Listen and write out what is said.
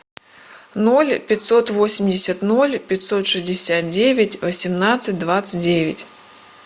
ноль пятьсот восемьдесят ноль пятьсот шестьдесят девять восемнадцать двадцать девять